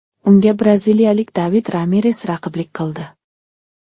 Unga braziliyalik David Ramires raqiblik qildi.